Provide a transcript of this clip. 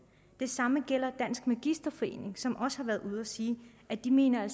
det samme gælder dansk magisterforening som også har været ude at sige at de mener at